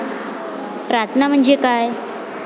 प्रार्थना म्हणजे काय?